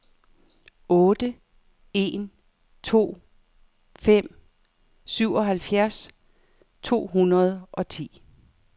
otte en to fem syvoghalvfjerds to hundrede og ti